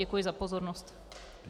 Děkuji za pozornost.